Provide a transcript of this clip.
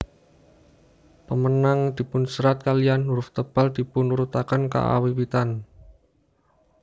Pemenang dipunserat kaliyan huruf tebal dipun urutaken kaawiwitan